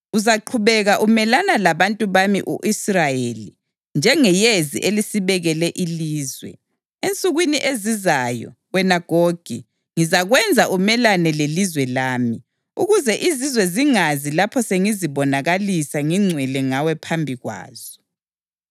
Uzaqhubeka umelana labantu bami u-Israyeli njengeyezi elisibekele ilizwe. Ensukwini ezizayo, wena Gogi, ngizakwenza umelane lelizwe lami, ukuze izizwe zingazi lapho sengizibonakalisa ngingcwele ngawe phambi kwazo.